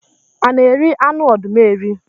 A na eri anụ ọdụm eri?